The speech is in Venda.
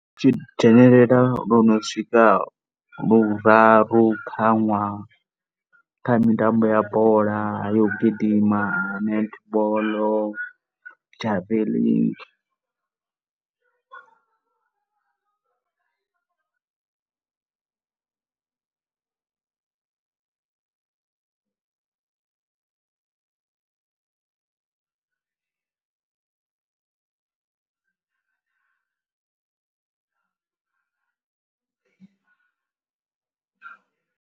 Dzhenelela lu no swika luraru kha ṅwaha kha mitambo ya bola, yo gidima, netball, javelic.